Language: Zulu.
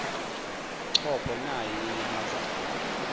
chopho nayi inyamazane